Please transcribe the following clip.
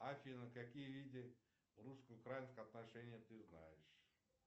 афина какие виды русско украинских отношений ты знаешь